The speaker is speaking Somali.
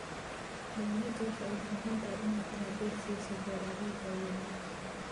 Dawladdu waxay u baahan tahay inay taageero siiso beeralayda yaryar.